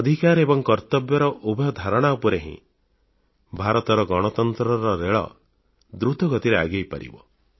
ଅଧିକାର ଏବଂ କର୍ତ୍ତବ୍ୟର ଉଭୟ ଧାରଣା ଉପରେ ହିଁ ଭାରତର ଗଣତନ୍ତ୍ରର ରେଳ ଦୃତଗତିରେ ଆଗେଇ ପାରିବ